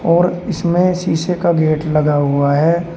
और इसमें शीशे का गेट लगा हुआ है।